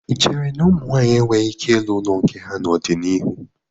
Ị chere na ụmụ nwaanyị enweghị ike ịrụ ụlọ nke ha n'ọdịnihu?